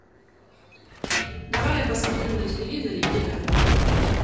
давай я посмотрю на телевизоре еда